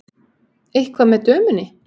Eitthvað með dömunni.